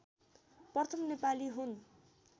प्रथम नेपाली हुन्